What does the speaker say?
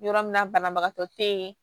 Yɔrɔ min na banabagatɔ te ye